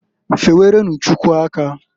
Fewerenu Chukwu aka.